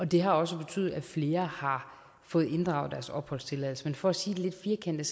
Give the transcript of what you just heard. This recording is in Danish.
det har også betydet at flere har fået inddraget deres opholdstilladelse men for at sige det lidt firkantet